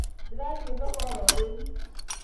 Ndĩrathiĩ thoko ororĩu